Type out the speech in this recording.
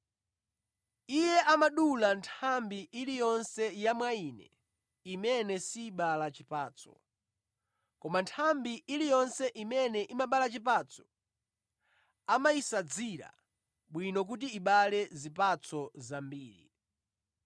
Iye amadula nthambi iliyonse ya mwa Ine imene sibala chipatso, koma nthambi iliyonse imene imabala chipatso amayisadzira bwino kuti ibale zipatso zambiri.